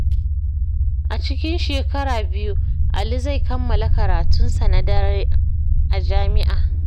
A cikin shekara biyu, Ali zai kammala karatun sa na daren a jami’a.